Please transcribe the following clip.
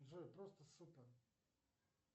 джой просто супер